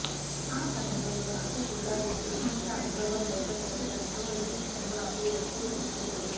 ఆ సమయంలో నాకు కూడా ఇప్పుడున్నంత అనుభవం లేకపోవటంతో ఆ సినిమాకు ఓకే చెప్పాడు